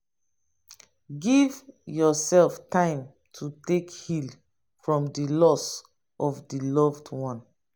give yourself time to take heal from di loss of di loved one